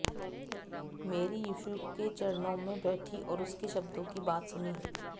Mary Yeshu के चरणों में बैठी और उसके शब्दों की बात सुनी